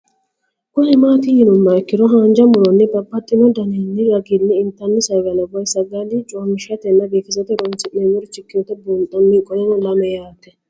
Kuni mati yinumoha ikiro hanja muroni babaxino daninina ragini intani sagale woyi sagali comishatenna bifisate horonsine'morich ikinota bunxana qoleno lame yaat